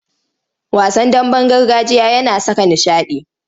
Wasan damben gargajiya yana saka nishaɗi.